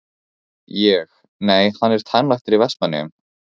Ég: Nei, hann er tannlæknir í Vestmannaeyjum?